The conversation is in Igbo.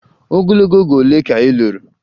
Ogologo oge ole ka ị lụrụ?